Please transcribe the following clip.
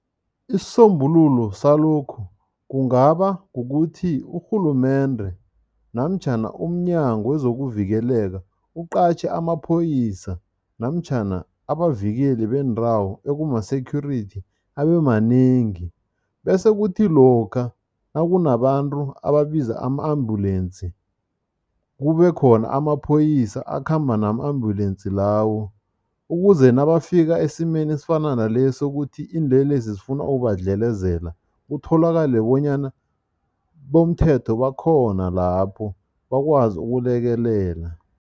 Isisombululo salokhu kungaba kukuthi urhulumende namtjhana umNyango wezokuVikeleka uqatjhe amaphoyisa namtjhana abazivikeli bendawo ekuma-security abemanengi bese kuthi lokha nakunabantu ababiza ama-ambulensi, kube khona amaphoyisa akhamba nama-ambulensi lawo ukuze nabafika esimeni esifana nalesi sokuthi iinlelesi zifuna ukubadlelezela, kutholakale bonyana bomthetho bakhona lapho, bakwazi ukulekelela.